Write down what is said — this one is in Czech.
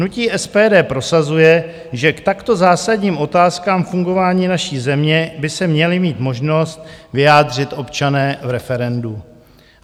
Hnutí SPD prosazuje, že k takto zásadním otázkám fungování naší země by se měli mít možnost vyjádřit občané v referendu.